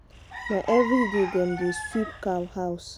na everyday dem dey sweep cow house.